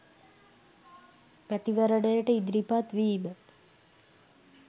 මැතිවරණයට ඉදිරිපත් වීම